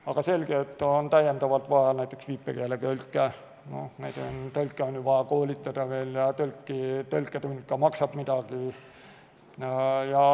Aga selge, et on täiendavalt vaja näiteks viipekeeletõlke, neid tõlke on ju vaja koolitada ja tõlketund ka maksab midagi.